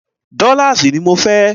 Dọ́láàsì ní mọ fẹ́!